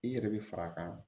I yɛrɛ bi fara a kan